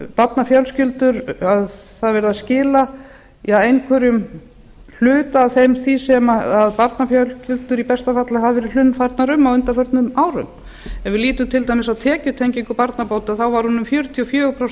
það er verið að skila einhverjum hluta af því sem barnafjölskyldur í besta falli hafa verið hlunnfarnar um á undanförnum árum ef við lítum til dæmis á tekjutengingu barnabóta þá var hún um fjörutíu og fjögur prósent á